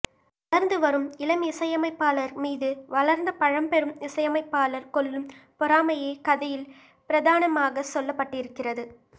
வளர்ந்து வரும் இளம் இசையமைப்பாளர் மீது வளர்ந்த பழம்பெரும் இசையமைப்பாளர் கொள்ளும் பொறாமையே கதையில் பிரதானமாகச் சொல்லப்பட்டிருக்கிறது